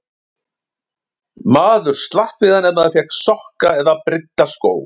Maður slapp við hann ef maður fékk sokka eða brydda skó.